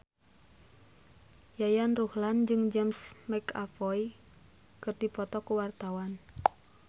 Yayan Ruhlan jeung James McAvoy keur dipoto ku wartawan